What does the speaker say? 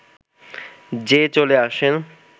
যে চলে আসে